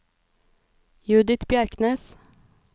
Judith Bjerknes